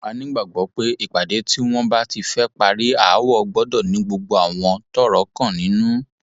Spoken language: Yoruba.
a nígbàgbọ pé ìpàdé tí wọn bá ti fẹẹ parí aáwọ gbọdọ ní gbogbo àwọn tọrọ kàn nínú